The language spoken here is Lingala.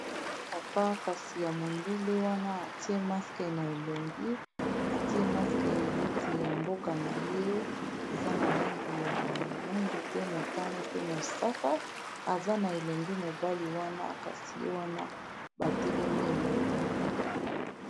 Oyo papa kasi ya mondele wana atie maske na elongi atie maske neti ya mboka na ye eza na langi ya mwindu, pe motane, pe mosaka aza na elenge mobali wana kasi ye wana batelemi elongo.